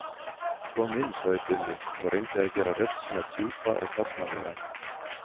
Kom inn, sagði Gunni og reyndi að gera rödd sína djúpa og karlmannlega.